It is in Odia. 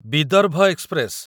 ବିଦର୍ଭ ଏକ୍ସପ୍ରେସ